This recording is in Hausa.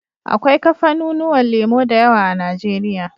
Akwai kafanu nuwan lemo dayawa a nigeria